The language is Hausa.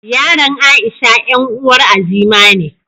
Yaran Aisha 'yan uwar Azima ne.